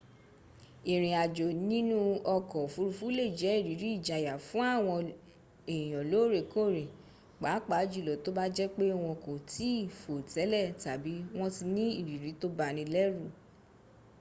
ìriìn àjò nínú ọkọ̀ òfuruufú lẹ jẹ ìrírí ìjayà fún èyàn lóórẹkóórẹ pàápàá júlọ tó bá jẹ pé wọn kò tìí fò télè tàbí wọn ti ní ìrírí tó banilérù